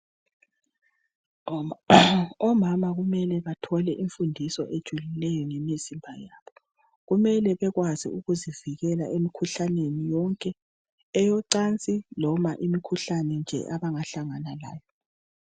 Omama kumele bathole imfundiso ejulileyo ngemizimba yabo. Kumele bekwazi ukuzivikela emikhuhlaneni yonke , eyocansi loba imikhuhlane nje abangahlangana layo.